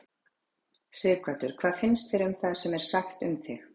Sighvatur: Hvað fannst þér um það sem er sagt um þig?